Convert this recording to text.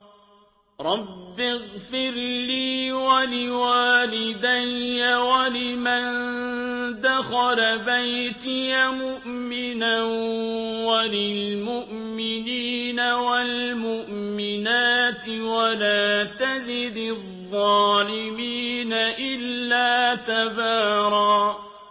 رَّبِّ اغْفِرْ لِي وَلِوَالِدَيَّ وَلِمَن دَخَلَ بَيْتِيَ مُؤْمِنًا وَلِلْمُؤْمِنِينَ وَالْمُؤْمِنَاتِ وَلَا تَزِدِ الظَّالِمِينَ إِلَّا تَبَارًا